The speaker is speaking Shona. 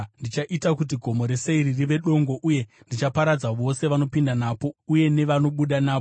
Ndichaita kuti Gomo reSeiri rive dongo uye ndichaparadza vose vanopinda napo uye nevanobuda napo.